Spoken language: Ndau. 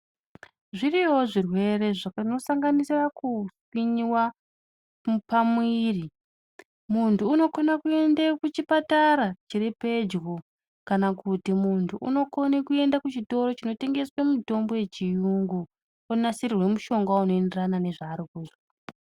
Zviriyowo zvirwere zvinosanganisira kupinyiwa pamwiri. Muntu unokone kuende kuchipatara chiri pedyo kana kuchitoro chinotengeswe mitombo yechiyungu onasirirwe mushonga unoenderana nezvaarikuzwa.